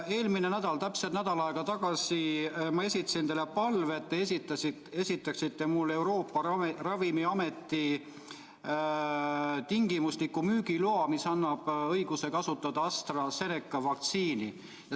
Eelmisel nädalal, täpselt nädal aega tagasi ma esitasin teile palve, et te esitaksite mulle Euroopa Ravimiameti tingimusliku müügiloa, mis annab õiguse kasutada AstraZeneca vaktsiini.